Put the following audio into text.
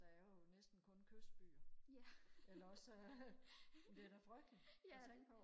der er jo næsten kun kystbyer eller også så er men det er da frygteligt og tænke på